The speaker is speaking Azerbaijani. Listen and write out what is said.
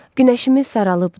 Günəşimiz saralıbdır.